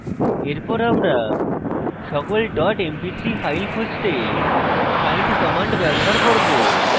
এরপর আমরা সকল ডট mp3 files খুঁজতে find command ব্যবহার করব